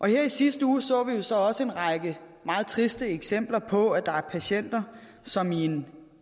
her i sidste uge så vi jo så også en række meget triste eksempler på at der er patienter som i en